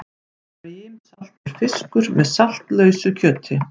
Brimsaltur fiskur með saltlausu kjöti.